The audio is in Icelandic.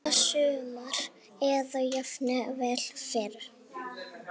Næsta sumar eða jafnvel fyrr.